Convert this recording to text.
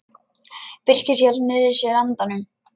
Birkir hélt niðri í sér andanum.